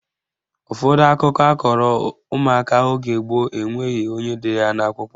Ụfọdụ akụkọ akọrọ ụmụaka oge gboo enweghị onye dere ya n'akwụkwọ